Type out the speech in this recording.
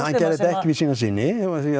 hann gerði þetta ekki við sína syni